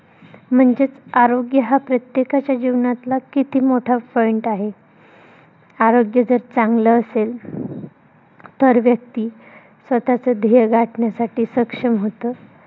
म्हणजेच आरोग्य हा प्रत्येकाच्या जीवनातला किती मोठा point आहे. आरोग्य जर, चांगलं असेल तर, व्यक्ती स्वतःच ध्येय गाठण्यासाठी सक्षम होतो.